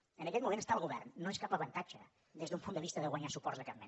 en aquest moment estar al govern no és cap avantatge des d’un punt de vista de guanyar suports de cap mena